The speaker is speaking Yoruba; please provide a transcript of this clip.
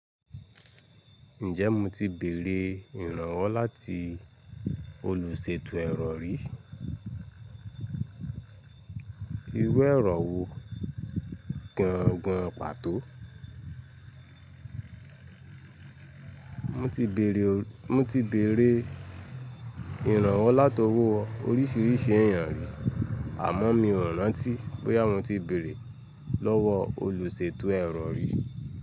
Ǹjẹ́ mo ti bèèrè ìrànwọ́ láti olùṣètò ẹ̀rọ rí? Irú ẹ̀rọ wo gangan pàtó? Mo ti bèèrè, mo ti bèèrè ìrànwọ́ láti ọwọ́ oríṣìíríṣìí èèyàn rí àmọ́ mi ò rántí bóyá mo ti bèèrè lọ́wọ́ olùṣètò ẹ̀rọ rí.